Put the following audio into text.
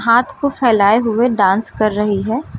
हाथ को फैलाए हुए डांस कर रही है।